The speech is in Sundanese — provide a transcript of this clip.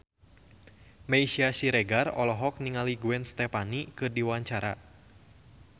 Meisya Siregar olohok ningali Gwen Stefani keur diwawancara